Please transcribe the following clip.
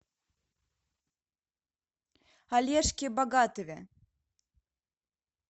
олежке богатове